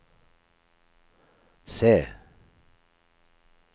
C